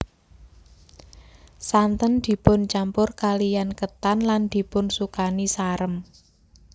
Santen dipun campur kaliyan ketan lan dipun sukani sarem